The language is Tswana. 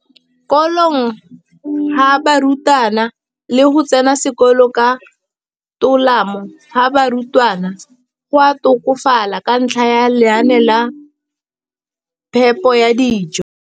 Kolong ga barutwana le go tsena sekolo ka tolamo ga barutwana go a tokafala ka ntlha ya lenaane la phepo ya dijo.